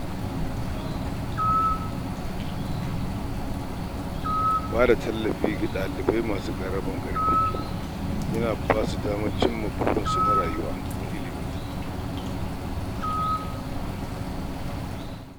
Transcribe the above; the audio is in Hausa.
Bada tallafin karatu ga dalibai masu ƙaramin hali ya na basu damar cimma burinsu na samun ilimi